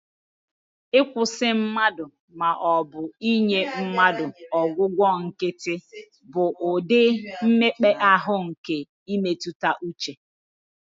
Ịkwụsị mmadụ, ma ọ bụ inye mmadụ ọgwụgwọ nkịtị, bụ ụdị mmekpa ahụ nke mmetụta uche